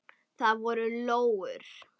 Það voru lóur.